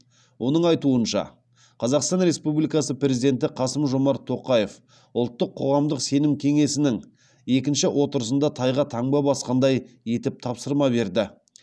оның айтуынша қазақстан республикасы президенті қасым жомарт тоқаев ұлттық қоғамдық сенім кеңесінің екінші отырысында тайға таңба басқандай етіп тапсырма берді